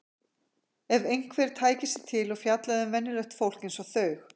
Ef einhver tæki sig til og fjallaði um venjulegt fólk eins og þau!